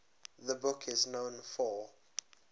the book is known for